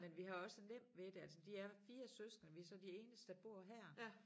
Men vi har også nemt ved det altså de er 4 søskende vi så de eneste der bor her